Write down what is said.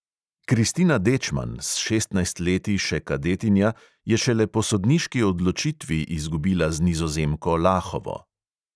Kristina dečman, s šestnajstimi leti še kadetinja, je šele po sodniški odločitvi izgubila z nizozemko lahovo.